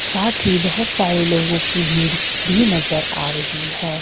साथ ही बहोत सारे लोगों की भीड़ भी नजर आ रही है।